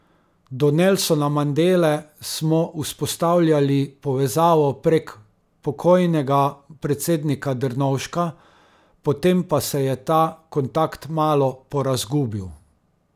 Do Nelsona Mandele smo vzpostavljali povezavo prek pokojnega predsednika Drnovška, potem pa se je ta kontakt malo porazgubil.